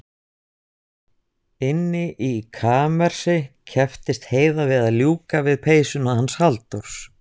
Inni í kamersi kepptist Heiða við að ljúka við peysuna hans Halldórs.